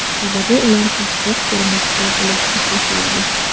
Sababi ular pastroq ko‘rinishda bo‘lishni xohlaydi.